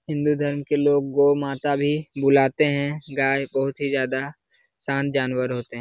हिन्दू धर्म के लोग गो माता भी बुलाते हैं। गाय बहुत ही ज्यादा शांत जानवर होते हैं।